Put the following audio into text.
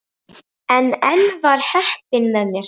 En enn var heppnin með mér.